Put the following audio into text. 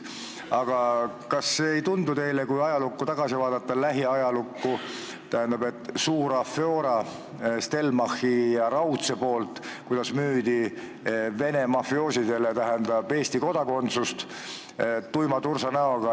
Aga kui vaadata tagasi lähiajalukku, siis oli ju näiteks suur Stelmachi ja Raudsega seotud afjora: Venemaa mafioosodele müüdi tuima tursanäoga Eesti kodakondsust.